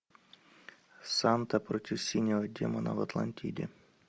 санта против синего демона в атлантиде